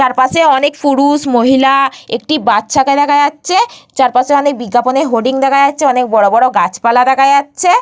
তার পাশে অনেক পুরুষ মহিলা-আ একটি বাচ্চাকে দেখা যাচ্ছে চারপাশে অনেক বিজ্ঞাপনের হোডিং দেখা যাচ্ছে অনেক বড় বড় গাছপালা দেখা যাচ্ছে।